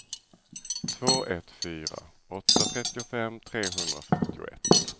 två ett fyra åtta trettiofem trehundrafyrtioett